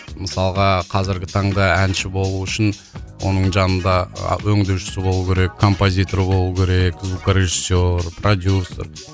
мысалға қазіргі таңда әнші болу үшін оның жанында өңдеушісі болуы керек композиторы болуы керек звукорежиссер продюссер